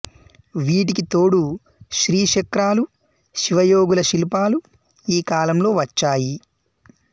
వీటికి తోడు శ్రీ చక్రాలూ శివ యోగుల శిల్పాలూ ఈకాలంలో వచ్చాయి